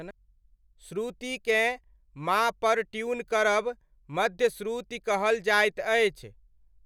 श्रुतिकेँ मा पर ट्यून करब मध्य श्रुति कहल जाइत अछि।